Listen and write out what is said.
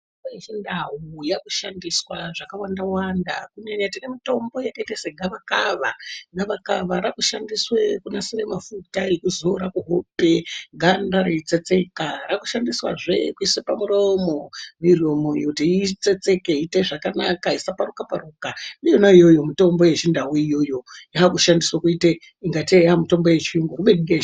Mitombo yeChindau yakushandiswa zvakawanda wanda. Kunyanya tine mitombo yakaita segavakava. Gavakava rakushandiswe kunasire mafuta ekuzora kuhope ganda reitsetseka. Rakushandiswazve kuise pamuromo , miromo kuti itsetseke, iite zvakanaka, isaparuka paruka. Iyona iyoyo mitombo yeChiNdau iyoyo yakushandiswe kuite ingatei mitombo yeChiyungu, kubeni mitombo yeChiNdau.